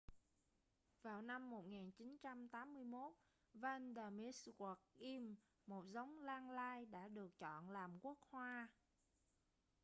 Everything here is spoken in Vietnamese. vào năm 1981 vanda miss joaquim một giống lan lai đã được chọn làm quốc hoa